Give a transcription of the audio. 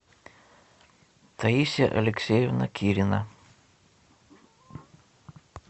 таисия алексеевна кирина